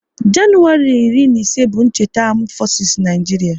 Januwari iri na ise bụ cheta Amdu fosis n'Naijiria